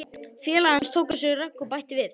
Félagi hans tók á sig rögg og bætti við